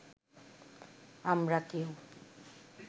আমরা কেউ